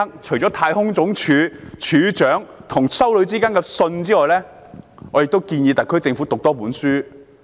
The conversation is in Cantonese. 除了太空總署署長和一名修女之間的信件外，我也建議特區政府讀一本書。